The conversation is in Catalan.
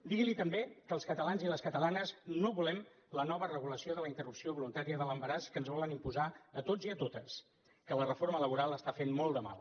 digui li també que els catalans i les catalanes no volem la nova regulació de la interrupció voluntària de l’embaràs que ens volen imposar a tots i a totes que la reforma laboral està fent molt de mal